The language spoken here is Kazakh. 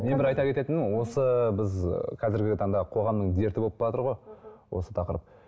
мен бір айта кететінім осы біз ы қазіргі таңда қоғамның дерті болып баратыр ғой осы тақырып